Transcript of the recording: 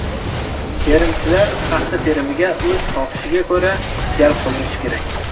Terimchilar paxta terimiga o‘z xohishiga ko‘ra jalb qilinishi kerak.